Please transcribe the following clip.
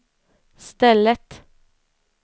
stället